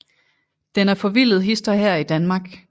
Den er forvildet hist og her i Danmark